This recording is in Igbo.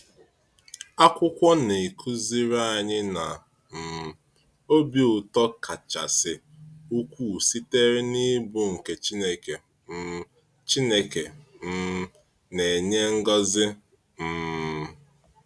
Akwụkwọ na-akụziri anyị na um obi ụtọ kachasị ukwuu sitere n’ịbụ nke Chineke um Chineke um na-enye ngọzi. um